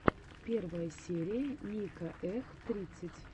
первая серия ника эх тридцать